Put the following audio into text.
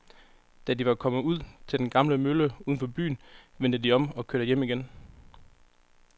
Da de var kommet ud til den gamle mølle uden for byen, vendte de om og kørte hjem igen.